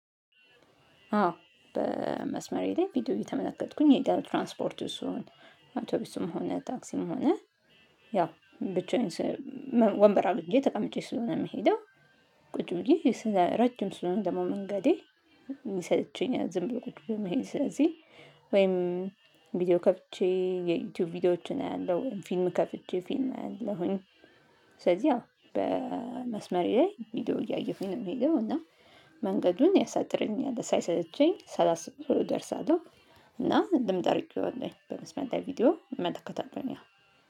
አዎ በመስመሬ ላይ ቪዲዮ እየተመለከትኩኝ እሄዳለው ትራንስፖርት ውስጥ ስሆን አውቶቡስም ሆነ ታክሲም ሆነ ያው ብቻዬን ወንበር አግኝቼ ተቀምጬ ስለሆነ የምሄደው። ቁጭ ብዬ ረጅም ስለሆነ ደግሞ መንገዴ ይሰለቸኛል ዝም ብሎ ቁጭ ብሎ መሄድ ስለዚህ ቪዲዮ ከፍቼ የዩቲዩብ ቪዲዮዎችን አያለሁ ፊልም ከፍቼ ፊልም አያለሁኝ። ስለዚህ ያው በመስመሬ ላይ ቪዲዮ እያየሁኝ ነው የምሄደው እና መንገዱን ያሳጥርልኛል ሳይሰለቸኝ ሳላሰበው ደርሳለሁ። እና ልምድ አድርጌዋለሁ በመስመር ላይ ቪዲዮ እመለከታለሁኝ